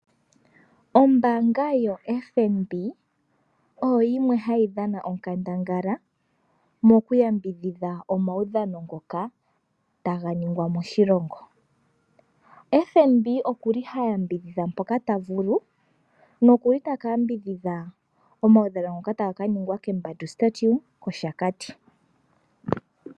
Ombanga ya FNB oyo yimwe hayi dhana onkandangala moku yambidhidha omaudhano ngoka taga ningwa moshilongo. FNB okuli ha yambidhidhampoka ta vulu, na okuli taka yambidhidha omaudhano ngoka taga ka ningwa kokapale ko kembandu kOshakati.